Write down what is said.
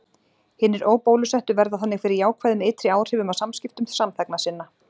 hinir óbólusettu verða þannig fyrir jákvæðum ytri áhrifum af samskiptum samþegna sinna